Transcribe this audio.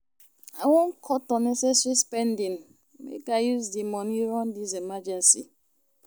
I wan cut unnecessary spending make I use di moni run dis emergency.